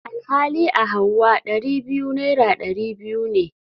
Alhali a hauwa Dari biyu naira dari biyu ne.